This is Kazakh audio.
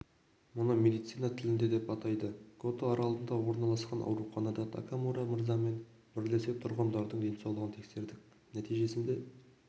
мұны медицина тілінде деп атайды гото аралында орналасқан ауруханада такамура мырзамен бірлесе тұрғындардың денсаулығын тексердік нәтижесінде